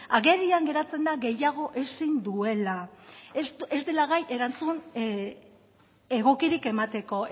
agerian geratzen da gehiago ezin duela ez dela gai erantzun egokirik emateko